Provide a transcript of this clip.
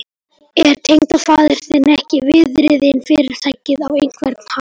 Er tengdafaðir þinn ekki viðriðinn Fyrirtækið á einhvern hátt?